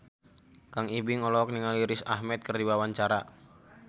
Kang Ibing olohok ningali Riz Ahmed keur diwawancara